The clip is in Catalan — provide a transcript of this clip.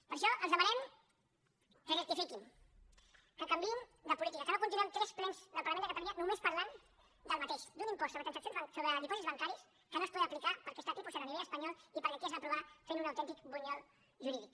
per això els demanem que rectifiquin que canviïn de política que no continuem tres plens del parlament de catalunya només parlant del mateix d’un impost sobre dipòsits bancaris que no es podrà aplicar perquè està a tipus zero a nivell espanyol i perquè aquí es va aprovar fent un autèntic bunyol jurídic